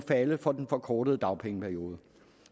falde for den forkortede dagpengeperiode